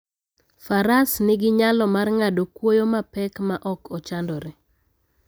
Faras nigi nyalo mar ng'ado kwoyo mapek maok ochandore.